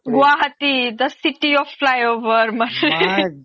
Guwahati the city of Fly over my